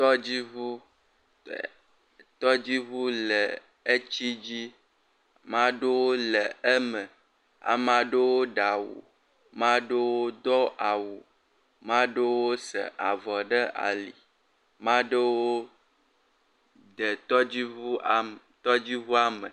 Tɔdziʋu. Tɔdziʋua le etsi dzi. Ma ɖewo le eme, ame aɖewo ɖe awu, ma ɖewo se avɔ ɖe ali, ma ɖewo de tɔdziʋua me.